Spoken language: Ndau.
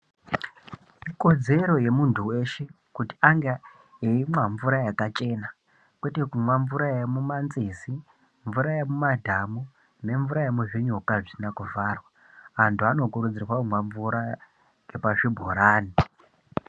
Ikodzero yemuntu weshe, kuti ange eimwa mvura yakachena, kwete kumwa mvura yemumanzizi mvura yemumadhamu, nemvura yemuzvinyuka zvisina kuvharwa. Antu anokurudzirwa kumwa mvura yepazvibhorani.